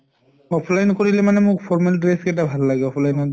offline কৰিলে মানে মোৰ formal dress কেইটা ভাল লাগে offline ত